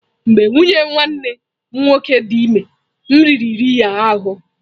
Mgbe nwunye nwanne m nwoke dị ime, nri riri ya ahụ́.